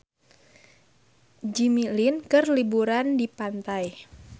Jimmy Lin keur liburan di pantai